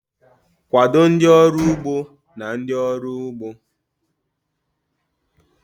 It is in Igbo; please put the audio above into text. Kwado ndị ọrụ ugbo na ndị ọrụ ugbo..